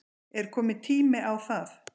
Er kominn tími á það?